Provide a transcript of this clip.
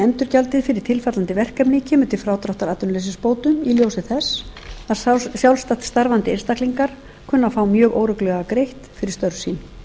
endurgjaldið fyrir tilfallandi verkefni kemur til frádráttar atvinnuleysisbótunum í ljósi þess að sjálfstætt starfandi einstaklingar kunna að fá mjög óreglulega greitt fyrir störf sín